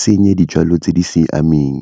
senye dijalo tse di siameng.